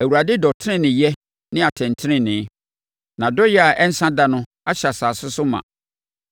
Awurade dɔ teneneeyɛ ne atɛntenenee. Nʼadɔeɛ a ɛnsa da no ahyɛ asase so ma.